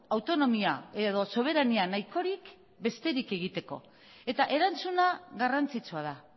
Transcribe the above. autonomía edo soberania nahikorik besterik egiteko eta erantzuna garrantzitsua da